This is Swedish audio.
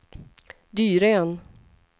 Dyrön